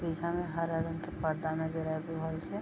पीछा में हरा रंग के पर्दा नजर आएल रहल छे।